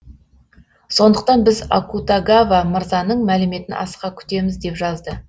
сондықтан біз акутагава мырзаның мәліметін асыға күтеміз деп жазды